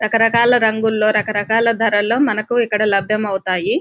రకరకాల రంగుల్లో రకరకాల ధరల్లో మనకు ఇక్కడ లభ్యమవుతాయి --